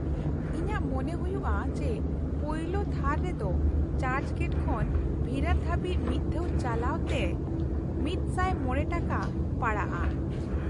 ᱤᱧᱟᱹᱜ ᱢᱚᱱᱮ ᱦᱩᱭᱩᱜᱼᱟ ᱡᱮ ᱯᱳᱭᱞᱳ ᱛᱷᱟᱨ ᱨᱮᱫᱚ ᱪᱟᱨᱪ ᱜᱮᱴ ᱠᱷᱚᱱ ᱵᱷᱤᱨᱟᱨ ᱫᱷᱟᱹᱵᱤᱡ ᱢᱤᱫ ᱫᱷᱟᱣ ᱪᱟᱞᱟᱜ ᱛᱮ ᱑᱐᱕ ᱴᱟᱠᱟ ᱯᱟᱲᱟᱜᱼᱟ ᱾